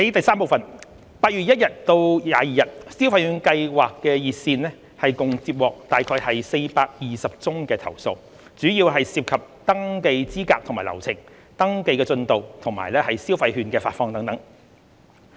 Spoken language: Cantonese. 三8月1至22日，消費券計劃熱線共接獲約420宗投訴，主要涉及登記資格及流程、登記進度，以及消費券的發放等。